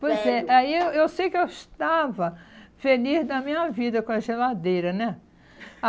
Pois é, aí eu eu sei que eu estava feliz da minha vida com a geladeira, né?